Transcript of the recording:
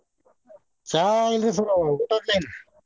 ಚಾ ಇಲ್ರಿ sir ಊಟದ್ದ ಇನ್ನ್.